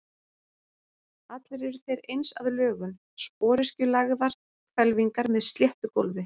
Allir eru þeir eins að lögun, sporöskjulagaðar hvelfingar með sléttu gólfi.